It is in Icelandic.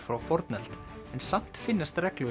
frá fornöld en samt finnast reglulega